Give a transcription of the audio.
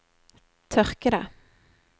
tørkede